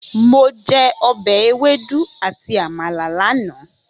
Mo jẹ ọbẹ̀ ewédú àti Àmàlà lánàá.